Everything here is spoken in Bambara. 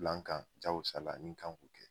Bilankan jago sala n'i kan k'o kɛ